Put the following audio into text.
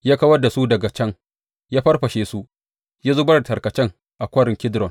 Ya kawar da su daga can, ya farfashe su, ya zubar da tarkacen a Kwarin Kidron.